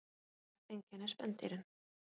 Ýmislegt einkennir spendýrin.